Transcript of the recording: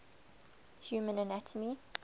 human anatomy